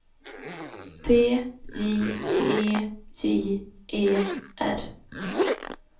T J E J E R